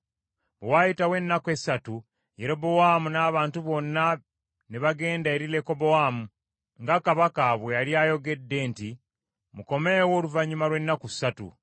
Bwe waayitawo ennaku essatu Yerobowaamu n’abantu bonna ne bagenda eri Lekobowaamu, nga kabaka bwe yali ayogedde nti, “Mukomeewo oluvannyuma lw’ennaku ssatu.”